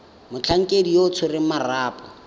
motlhankedi yo o tshwereng marapo